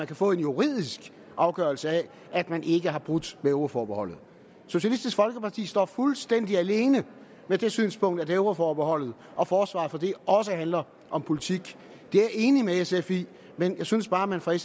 kan få en juridisk afgørelse af at man ikke har brudt med euroforbeholdet socialistisk folkeparti står fuldstændig alene med det synspunkt at euroforbeholdet og forsvaret for det også handler om politik det er jeg enig med sf i men jeg synes bare at man fra